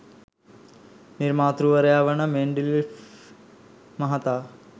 නිර්මාතෘවරයා වන මෙන්ඩලියේෆ් මහතා